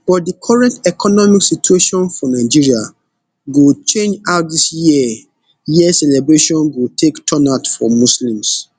but di current economic situation for nigeria go change how dis year year celebration go take turn out for muslims